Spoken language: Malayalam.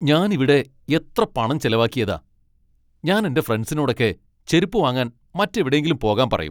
ഞാൻ ഇവിടെ എത്ര പണം ചെലവാക്കിയതാ, ഞാൻ എന്റെ ഫ്രെണ്ട്സിനോടൊക്കെ ചെരുപ്പു വാങ്ങാൻ മറ്റെവിടെയെങ്കിലും പോകാൻ പറയും.